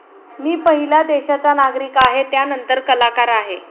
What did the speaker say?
मी पहिला देशाचा नागरिक आहे, त्यानंतर कलाकार आहे.